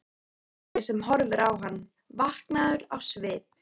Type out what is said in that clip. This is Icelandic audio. Eiríki sem horfði á hann, vankaður á svip.